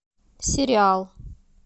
сериал